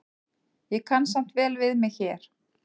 Ég kann samt vel við mig hér.